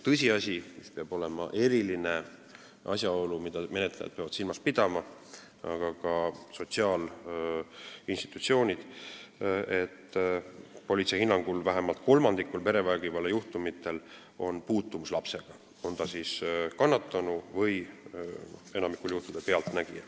Tõsiasi ja eriline asjaolu, mida peavad silmas pidama menetlejad, aga ka sotsiaalinstitutsioonid, on see, et politsei hinnangul on vähemalt kolmandikul perevägivallajuhtumitest puutumus lapsega, on ta siis kannatanu või pealtnägija, nagu enamikul juhtudel.